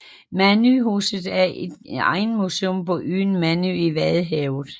Mandøhuset er et egnsmuseum på øen Mandø i vadehavet